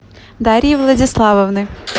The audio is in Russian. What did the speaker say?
дарьи владиславовны